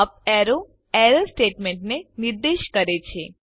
up arrow error સ્ટેટમેન્ટને નિર્દેશ કરે છે